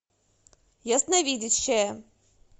ясновидящая